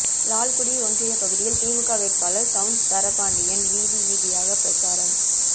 லால்குடி ஒன்றிய பகுதியில் திமுக வேட்பாளர் சவுந்தரபாண்டியன் வீதி வீதியாக பிரசாரம்